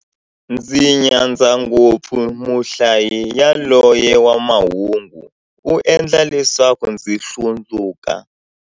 Ndzi nyadza ngopfu muhlayi yaloye wa mahungu, u endla leswaku ndzi hlundzuka.